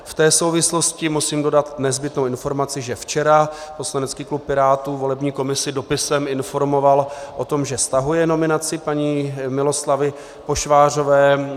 V té souvislosti musím dodat nezbytnou informaci, že včera poslanecký klub Pirátů volební komisi dopisem informoval o tom, že stahuje nominaci paní Miloslavy Pošvářové.